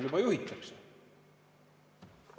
– juba juhitakse.